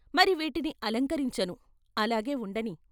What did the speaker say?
మరి వీటిని అలంకరించను, అలాగే ఉండనీ.